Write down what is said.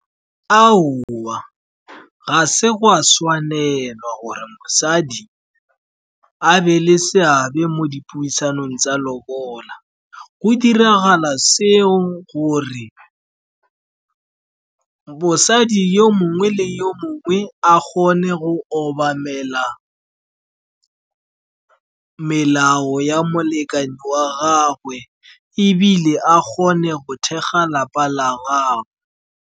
Ga se go a tshwanelwa gore mosadi a be le seabe mo dipuisanong tsa lobola. Go diragala seo gore mosadi yo mongwe le yo mongwe a kgone go obamela melao ya molekane wa gagwe ebile a kgone go thekga lapa la gagwe.